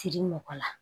Fili mɔgɔ la